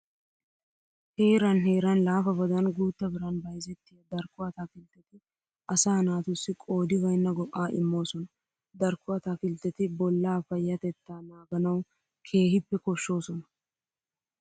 Heeran heeran laafabadan guutta biran bayzettiya darkko ataakiltteti asaa naatussi qoodi baynna go"aa immoosona. Darkko ataakiltteti bollaa payyatettaa naaganawu keehippe koshshoosona.